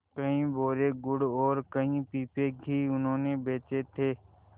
कई बोरे गुड़ और कई पीपे घी उन्होंने बेचे थे